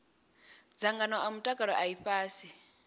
dzangano a mutakalo a ifhasi